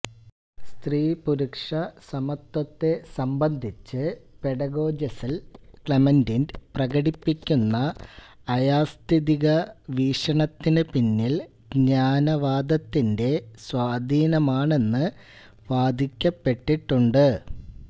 സ്ത്രീപുരുഷസമത്വത്തെ സംബന്ധിച്ച് പെഡഗോജസ്ൽ ക്ലെമന്റിന്റ് പ്രകടിപ്പിക്കുന്ന അയാഥാസ്ഥിതിക വീക്ഷണത്തിനു പിന്നിൽ ജ്ഞാനവാദത്തിന്റെ സ്വാധീനമാണെന്നു വാദിക്കപ്പെട്ടിട്ടുണ്ട്